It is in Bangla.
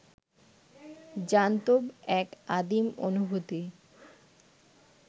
জান্তব এক আদিম অনুভূতি